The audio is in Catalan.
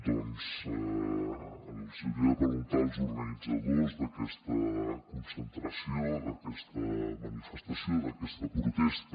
doncs els hi hauria de preguntar als organitzadors d’aquesta concentració d’aquesta manifestació d’aquesta protesta